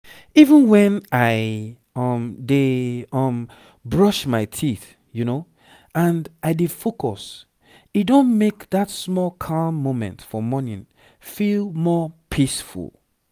even when i um dey um brush my teeth and i dey focus e don make that small calm moment for morning feel more peaceful